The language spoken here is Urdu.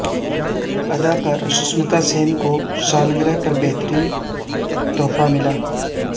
اداکارہ سشمتا سین کو سالگرہ پر بہترین تحفہ ملا